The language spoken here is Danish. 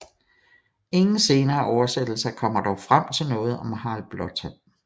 Ingen senere oversættelser kommer dog frem til noget om Harald Blåtand